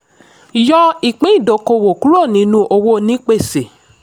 yọ ìpín ìdókòwò kúrò nínú owó onípèsè.